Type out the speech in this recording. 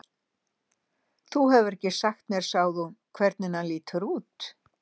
Þú hefur ekki sagt mér sagði hún, hvernig hann lítur út